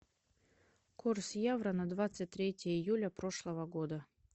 курс евро на двадцать третье июля прошлого года